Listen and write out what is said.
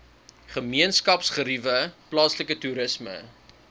gemeenskapsgeriewe plaaslike toerisme